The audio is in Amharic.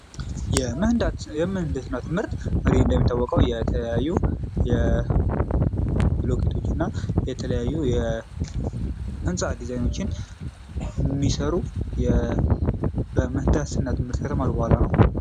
የምህንድስና ትምህርት እንግዲህ እንደሚታወቀው የተለያዩ ብሎኬቶችና የተለያዩ የህንፃ ድዛይኖችን የሚሰሩ የምህንድስና ትምህርት ከተማሩ በኋላ ነው።